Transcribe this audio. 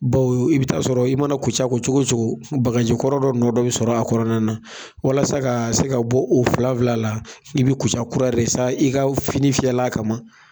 Bawo i bɛ taa sɔrɔ i mana kuca ko cogo cogo, bagaji kɔrɔ dɔ nɔ dɔ bɛ sɔrɔ a kɔnɔna na. Walasa ka se ka bɔ o filan filan la, i bɛ kuca kura de san, i ka fini fiyɛla kama